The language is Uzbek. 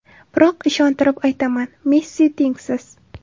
Biroq ishontirib aytaman: Messi tengsiz.